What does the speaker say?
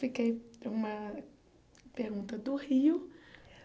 Fiquei para uma pergunta do Rio.